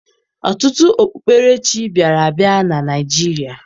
Ọtụtụ okpukperechi bịara abịa na Naịjirịa